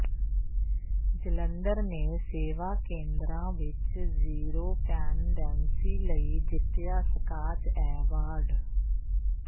ਜਲੰਧਰ ਨੇ ਸੇਵਾ ਕੇਂਦਰਾਂ ਵਿੱਚ ਜ਼ੀਰੋ ਪੈਂਡੈਂਸੀ ਲਈ ਜਿੱਤਿਆ ਸਕਾਚ ਐਵਾਰਡ